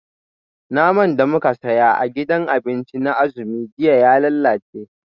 Naman da muka saya a gidajen abinci na azumi jiya ya lalace